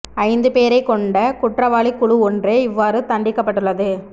ஐந்து பேரைக் கொண்ட குற்றவாளி குழு ஒன்றே இவ்வாறு தண்டிக்கப்பட்டுள்ளது